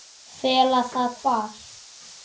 Fela það hvar?